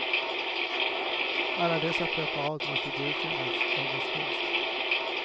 Alla dessa preparat måste godkännas av oss först.